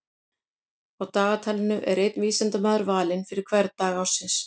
Á dagatalinu er einn vísindamaður valinn fyrir hvern dag ársins.